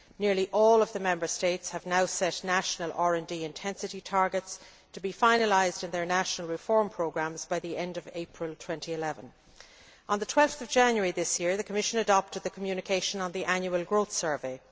Nearly all of the Member States have now set national RD intensity targets, to be finalised in their national reform programmes by the end of April 2011. On 12 January this year, the Commission adopted the communication on the annual growth survey.